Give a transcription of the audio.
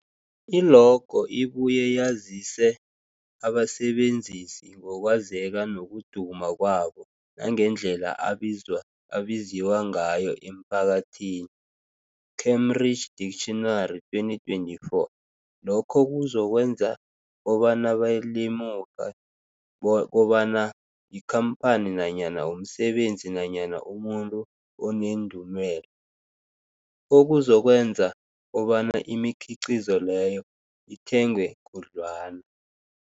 I-logo ibuye yazise abasebenzisi ngokwazeka nokuduma kwabo nangendlela abaziwa abaziwa ngayo emphakathini, Cambridge Dictionary, 2024. Lokho kuzokwenza kobana balemuke kobana yikhamphani nanyana umsebenzi nanyana umuntu onendumela, okuzokwenza kobana imikhiqhizo leyo ithengwe khudlwana.